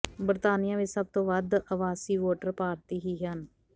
ਬਰਤਾਨੀਆ ਵਿੱਚ ਸਭ ਤੋਂ ਵੱਧ ਅਵਾਸੀ ਵੋਟਰ ਭਾਰਤੀ ਹੀ ਹਨ